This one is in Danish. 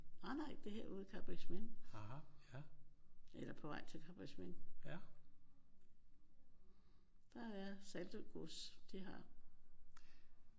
Nej nej det her er ude i Karrebæksminde. Eller på vej til Karrebæksminde. Der er Saltø Gods. De har